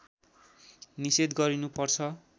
निषेध गरिनु पर्छ